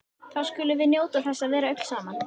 Þá skulum við njóta þess að vera öll saman.